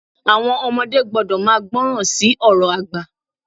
Àwọn ọmọdé gbọ́dọ̀ máa gbọ́ràn sí àwọn ọ̀rọ̀ àgbà.